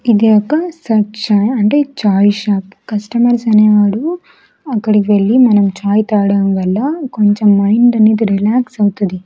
ఇది ఒక సర్చ్ చాయ్ అంటే ఛాయ్ షాప్ కస్టమర్స్ అనేవాడు అక్కడికి వెళ్లి మనం ఛాయ్ తాడడం వల్ల కొంచెం మైండ్ అనేది రిలాక్స్ అవుతది.